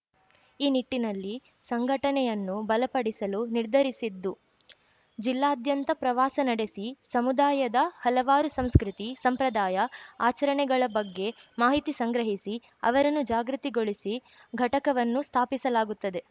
ಈ ನಿಟ್ಟಿನಲ್ಲಿ ಸಂಘಟನೆಯನ್ನು ಬಲಪಡಿಸಲು ನಿರ್ಧರಿಸಿದ್ದು ಜಿಲ್ಲಾದ್ಯಂತ ಪ್ರವಾಸ ನಡೆಸಿ ಸಮುದಾಯದ ಹಲವಾರು ಸಂಸ್ಕೃತಿ ಸಂಪ್ರದಾಯ ಆಚರಣೆಗಳ ಬಗ್ಗೆ ಮಾಹಿತಿ ಸಂಗ್ರಹಿಸಿ ಅವರನ್ನು ಜಾಗೃತಿಗೊಳಿಸಿ ಘಟಕವನ್ನು ಸ್ಥಾಪಿಸಲಾಗುತ್ತದೆ